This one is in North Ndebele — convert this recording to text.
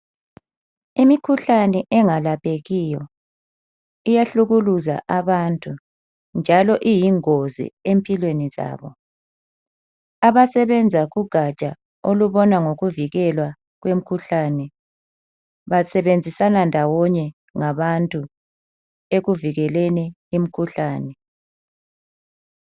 Imikhuhlane engalaphekiyo iyahlukuluza abantu njalo iyingozi empilweni zabo abasebenza kugatsha olubona ngokuvikelwa kwemikhuhlane basebenzisana ndawonye labantu ekuvikeleni imikhuhlane.